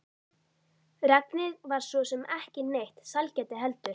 Regnið var svo sem ekki neitt sælgæti heldur.